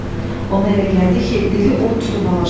Ona elə gəldi ki, dili od tutub alışdı.